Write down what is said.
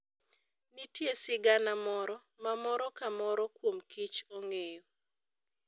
Nitie sigana moro ma moro ka moro kuom kich ong'eyo.